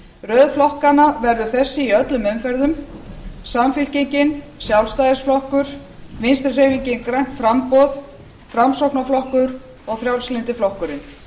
röð flokkanna verður þessi í öllum umferðum samfylkingin sjálfstæðisflokkur vinstri hreyfingin grænt framboð framsóknarflokkur og frjálslyndi flokkurinn